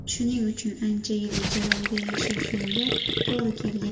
Shuning uchun ancha yil ijara uyda yashashimga to‘g‘ri kelgan.